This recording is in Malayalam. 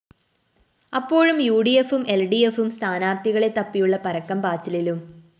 അപ്പോഴും യുഡിഎഫും എല്‍ഡിഎഫും സ്ഥാനാര്‍ത്ഥികളെ തപ്പിയുള്ള പരക്കം പാച്ചിലിലും